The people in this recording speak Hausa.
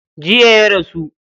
Jiya ya rasu.